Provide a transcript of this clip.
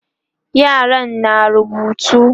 yaran na rubutu